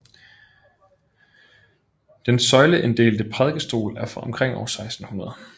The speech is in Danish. Den søjleinddelte prædikestol er fra omrking år 1600